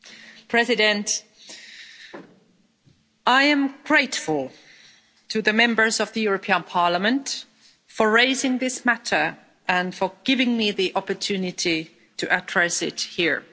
Madam President, I am grateful to the Members of the European Parliament for raising this matter, and for giving me the opportunity to address it here.